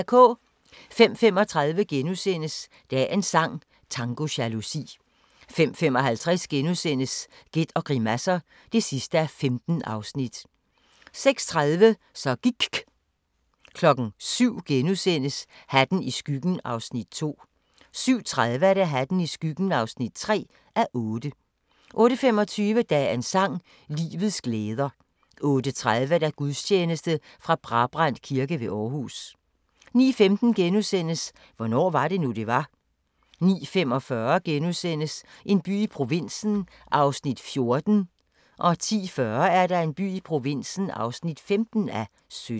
05:35: Dagens sang: Tango jalousi * 05:55: Gæt og grimasser (15:15)* 06:30: Så gIKK' 07:00: Hatten i skyggen (2:8)* 07:30: Hatten i skyggen (3:8) 08:25: Dagens sang: Livets glæder 08:30: Gudstjeneste fra Brabrand Kirke ved Aarhus 09:15: Hvornår var det nu, det var? * 09:45: En by i provinsen (14:17)* 10:40: En by i provinsen (15:17)